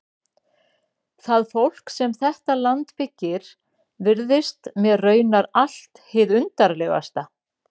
Það fólk sem þetta land byggir virðist mér raunar allt hið undarlegasta.